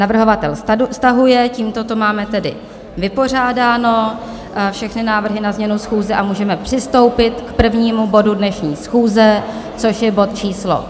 Navrhovatel stahuje, tímto to máme tedy vypořádáno, všechny návrhy na změnu schůze a můžeme přistoupit k prvnímu bodu dnešní schůze, což je bod číslo